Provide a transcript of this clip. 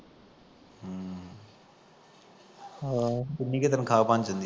ਕਿੱਡੀ ਕੁ ਤਨਖਾਹ ਬਣ ਜਾਂਦੀ ਉਦੀ